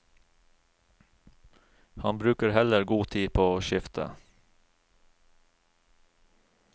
Han bruker heller god tid på å skifte.